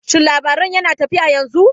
Shin labaron yana tafiya yanzu?